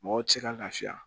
Mɔgɔw tɛ se ka lafiya